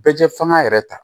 Bɛɛ fanga yɛrɛ ta